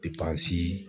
Depansi